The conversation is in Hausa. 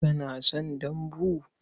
Kana son dambu?